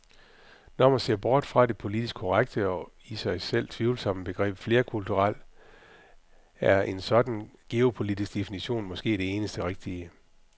Når man ser bort fra det politisk korrekte og i sig selv tvivlsomme begreb flerkulturel , er en sådan geopolitisk definition måske den eneste rigtige.